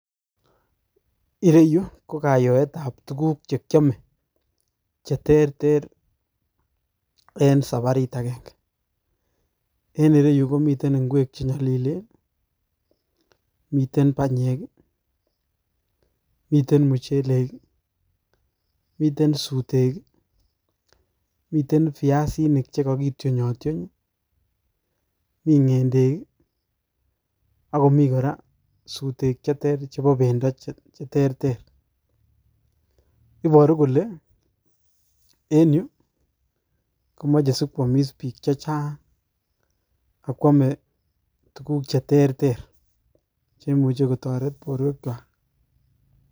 Ireyu kokayoet ab tuguk che kiome che terte en saparit agenge, en ireu komiten ingwek che nyolilen, miten banyek I ,miten muchelek I,miten sutek, mitten biasinik che kakityonytyony I,mi ngendek ak komi kora sutek cheter chebo bendoo, iboru kole en yu komoche sikwomiss bik chechang ak kwome tuguk che terter cheimuche kotoret borwekchwak.